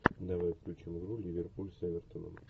давай включим игру ливерпуль с эвертоном